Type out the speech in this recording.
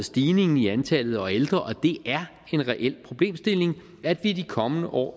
stigningen i antallet af ældre og det er en reel problemstilling at vi i de kommende år